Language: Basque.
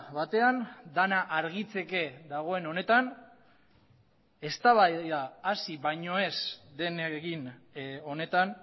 batean dena argitzeke dagoen honetan eztabaida hasi baino ez den egin honetan